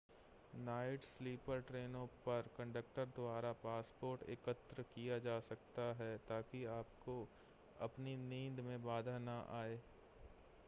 night sleeper ट्रेनों पर conductor द्वारा पासपोर्ट एकत्र किया जा सकता है ताकि आपको अपनी नींद में बाधा न आए